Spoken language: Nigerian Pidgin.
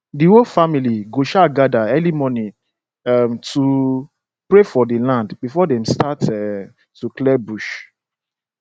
the whole family go um gather early morning um to pray for the land before dem start um to clear bush